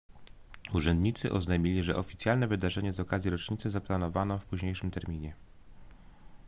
urzędnicy oznajmili że oficjalne wydarzenie z okazji rocznicy zaplanowano w późniejszym terminie